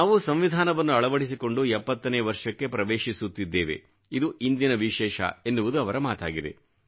ನಾವು ಸಂವಿಧಾನವನ್ನು ಅಳವಡಿಸಿಕೊಂಡು 70ನೇ ವರ್ಷಕ್ಕೆ ಪ್ರವೇಶಿಸುತ್ತಿದ್ದೇವೆ ಇದು ಇಂದಿನ ವಿಶೇಷ ಎನ್ನುವುದು ಅವರ ಮಾತಾಗಿದೆ